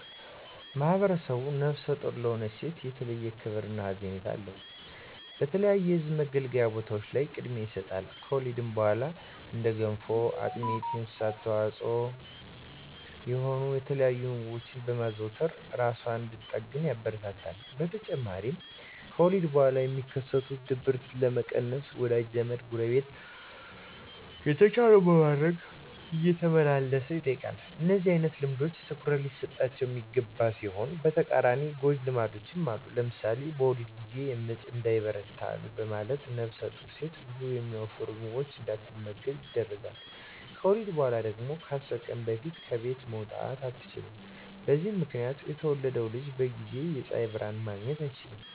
ማህብረሰቡ ነፍሰ ጡር ለሆነች ሴት የተለየ ክብር እና ሀዘኔታ አለው። በተለያዩ የህዝብ መገልገያ ቦታዎች ላይ ቅድሚያ ይሰጣል። ከወሊድ በኋላም እንደ ገንፎ፣ አጥሚት እና የእንስሳት ተዋፅዖ የሆኑ የተለያዩ ምግቦችን በማዘውተር እራሷን እንድትጠግን ያበረታታል። በተጨማሪም ከወሊድ በኋላ የሚከሰትን ድብርት ለመቀነስ ወዳጅ ዘመ፣ ጎረቤት የተቻለውን በማድረግ እየተመላለሰ ይጠይቃል። እንደነዚህ አይነት ልምዶች ትኩረት ሊሰጣቸው የሚገባ ሲሆን በተቃራኒው ጎጅ ልማዶችም አሉ። ለምሳሌ በወሊድ ጊዜ ምጥ እንዳይበረታ በማለት ነፍሰጡር ሴት ብዙ የሚያወፍሩ ምግቦችን እንዳትመገብ ይደረጋል። ከወሊድ በኋላ ደግሞ ከ10 ቀን በፊት ከቤት መውጣት አትችልም። በዚህ ምክንያት የተወለደው ልጅ በጊዜ የፀሀይ ብርሀን ማግኘት አይችልም።